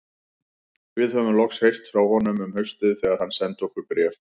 Við höfðum loks heyrt frá honum um haustið þegar hann sendi okkur bréf frá